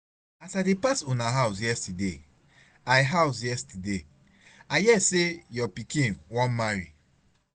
As I dey pass una house yesterday, I house yesterday, I hear say your pikin wan marry.